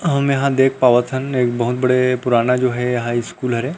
हम यहाँ देख पावत हन एक बहुत बड़े पुराना स्कूल हरे।